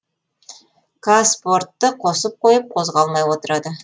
қазспортты қосып қойып қозғалмай отырады